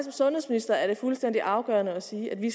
sundhedsminister er det fuldstændig afgørende at sige at vi